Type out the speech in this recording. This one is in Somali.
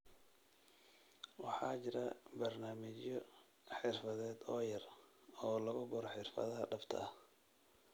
Waxaa jira barnaamijyo xirfadeed oo yar oo lagu baro xirfadaha dhabta ah ee .